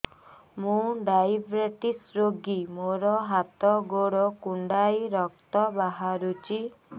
ମୁ ଡାଏବେଟିସ ରୋଗୀ ମୋର ହାତ ଗୋଡ଼ କୁଣ୍ଡାଇ ରକ୍ତ ବାହାରୁଚି